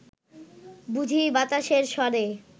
বুঝি বাতাসের স্বরে